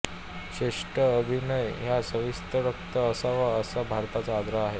श्रेष्ठ अभिनय हा सत्त्वातिरिक्त असावा असा भरताचा आग्रह आहे